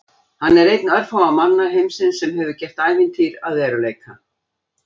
Hann er einn örfárra manna heimsins sem hefur gert ævintýr að veruleika.